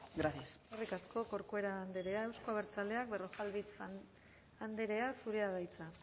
gracias eskerrik asko corcuera andrea euzko abertzaleak berrojalbiz andrea zurea da hitza